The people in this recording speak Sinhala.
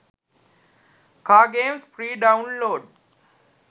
car games free download